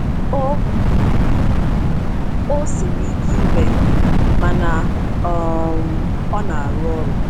O O siri ike ime, mana um ọ na-arụ ọrụ.”